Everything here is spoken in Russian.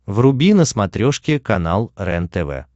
вруби на смотрешке канал рентв